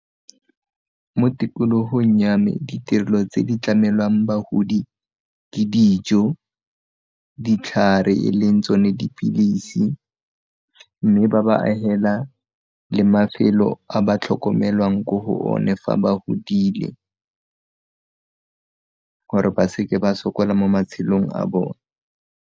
Mo tikologong ya me ditirelo tse di tlamelang bagodi ke dijo, ditlhare e leng tsone dipilisi mme ba ba agela le mafelo a ba tlhokomelwang ko go one fa ba godile gore ba seke ba sokola mo matshelong a bone.